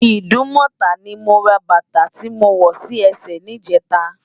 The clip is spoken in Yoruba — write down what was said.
Idumota ni mó rá bata ti mó wò si èsè nijètâ